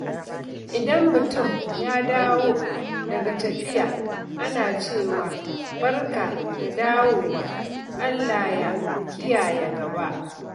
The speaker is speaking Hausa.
Idan mutum ya dawo daga tafiya, ana cewa, "Barka da dawowa, Allah ya kiyaye gaba."